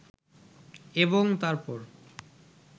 এবং তারপর